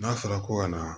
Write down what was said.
N'a fɔra ko ka na